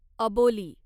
अबोली